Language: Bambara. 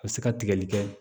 A bɛ se ka tigɛli kɛ